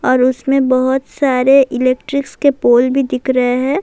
اور اسمے بہت سارے الیکٹرک ک پوللس بھی دکھ رہی ہیں-